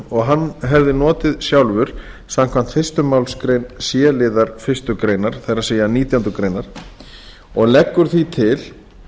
og hann hefði notið sjálfur samkvæmt fyrstu málsgrein c liðar fyrstu grein og leggur því til